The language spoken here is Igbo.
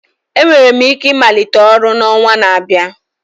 Enwere m ike ịmalite ọrụ n'ọnwa na-abịa